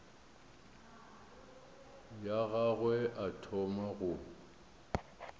ya gagwe a thoma go